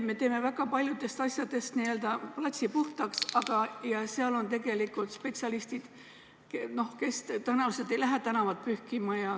Me teeme väga paljudest asjadest platsi puhtaks, aga kohapeal on tegelikult spetsialistid, kes tõenäoliselt ei lähe tänavat pühkima.